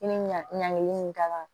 I bi ɲagelen nin kan